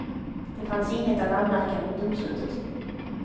Det fanns inget att anmärka mot domslutet.